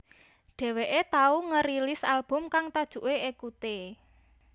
Dheweké tau ngerilis album kang tajuké Ekute